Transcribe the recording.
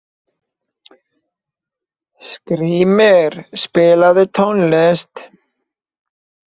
Skrýmir, spilaðu tónlist.